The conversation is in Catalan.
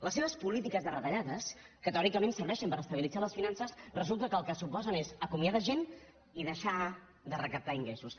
les seves polítiques de retallades que teòricament serveixen per estabilitzar les finances resulta que el que suposen és acomiadar gent i deixar de recaptar ingressos